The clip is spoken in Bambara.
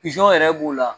Pizɔn yɛrɛ b'o la